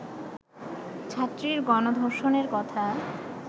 ছাত্রীর গণধর্ষণের কথা